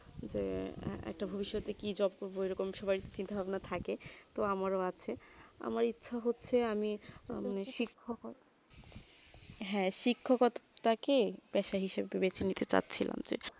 যে একটা ভবিষ তে কি job করবো এইরকম সবাই চিন্তা ভাবনা থাকে তো আমার আছে আমার ইচ্ছা হচ্ছে আমি শিক্ষ কর্মী হেঁ শিক্ষ কথা তা কি বেশ হিসাব যে দুবেটি নিচ্ছে যা ছিলাম যে